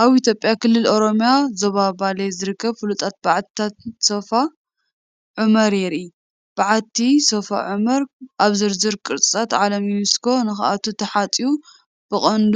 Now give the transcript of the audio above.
ኣብ ኢትዮጵያ ክልል ኦሮምያ ዞባ ባሌ ዝርከቡ ፍሉጣት በዓትታት ሶፍ ዑመር የርኢ። በዓቲ ሶፍ ዑመር ኣብ ዝርዝር ቅርስታት ዓለም ዩኔስኮ ንኽኣቱ ተሓጽዩ ብቐንዱ